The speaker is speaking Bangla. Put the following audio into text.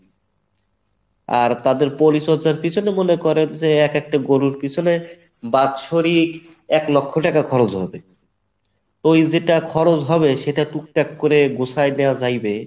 আর তাদের পরিচর্চার পিছনে মনে করেন যে এক একটা গরুর পিছনে বাৎসরিক এক লক্ষ টাকা খরচ হবে ওই যেটা খরচ হবে সেটা টুকটাক করে গুছায় নেওয়া যাইবে।